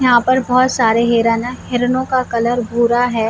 यहां पर बहुत सारे हीरन है हिरनों का कलर भूरा है।